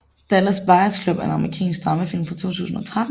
Dallas Buyers Club er en amerikansk dramafilm fra 2013